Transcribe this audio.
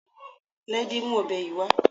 Láídé mú ọ̀bẹ yìí wá